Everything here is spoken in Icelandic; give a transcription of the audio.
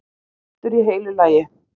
Grís, steiktur í heilu lagi!